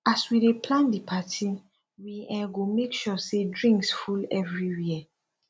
as we dey plan di party we um go make sure sey drinks full everywhere